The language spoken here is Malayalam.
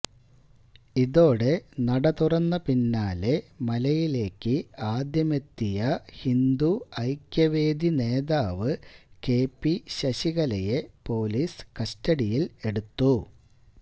ഇതോടെ നട തുറന്ന പിന്നാലെ മലയിലേക്ക് ആദ്യമെത്തിയ ഹിന്ദു ഐക്യവേദി നേതാവ് കെപി ശശികലയെ പോലീസ് കസ്റ്റഡിയില് എടുത്തു